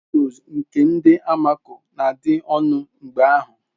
Windoos nke ndi almako na-adị ọnụ mgeahu.